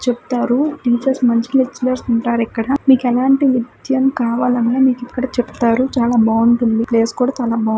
చెప్తారు టీచర్స్ మంచి లెక్చరర్స్ ఉంటారు ఇక్కడ. మీకు ఎలాంటి విద్యం కావలి అన్న మీకు ఇక్కడ చెప్తారు. చాలా బావుంటుంది. ప్లేస్ కూడా చాల బావ్--